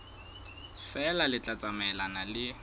feela le tla tsamaelana le